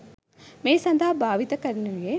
මේ සඳහා භාවිත කරනුයේ